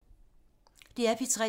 DR P3